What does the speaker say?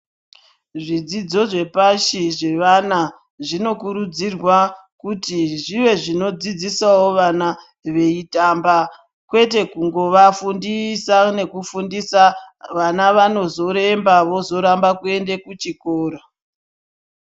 Zvidzidzo zvepashi zvefana zvinokurudzirwa kuti zvive zvinodzidzisawo vana veitamba kwete kungova fundisa veifundisa vana vanozoremba vozoramba kuenda kuchikora.